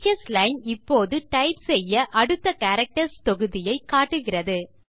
teachers line இப்போது type செய்ய அடுத்த கேரக்டர்ஸ் தொகுதியை காட்டுகிறது